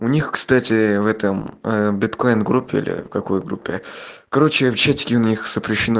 у них кстати в этом биткоин группе или какой группе короче в чатике у них запрещено